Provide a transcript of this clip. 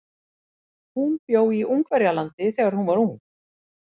Hún bjó í Ungverjalandi þegar hún var ung.